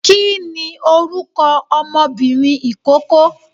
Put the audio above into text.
kìíni orúkọ ọmọbìnrin ikoko?